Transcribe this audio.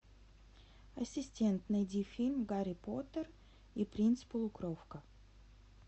ассистент найди фильм гарри поттер и принц полукровка